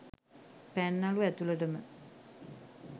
පැන්නලු ඇතුලටම